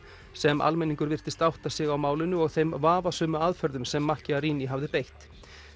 sem almenningur virtist átta sig á málinu og þeim vafasömu aðferðum sem hafði beitt